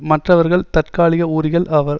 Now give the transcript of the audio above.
மற்றவர்கள் தற்காலிக ஊரிகள் ஆவர்